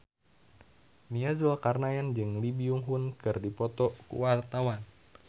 Nia Zulkarnaen jeung Lee Byung Hun keur dipoto ku wartawan